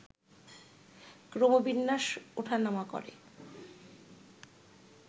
ক্রমবিন্যাস ওঠানামা করে